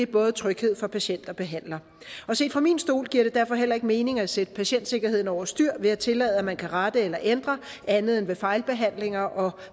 både tryghed for patienter og behandlere set fra min stol giver det derfor heller ikke mening at sætte patientsikkerheden over styr ved at tillade at man kan rette eller ændre andet end ved fejlbehandlinger og